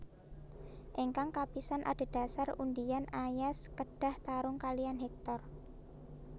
Ingkang kapisan adhedhasar undian Aias kedah tarung kalihan Hektor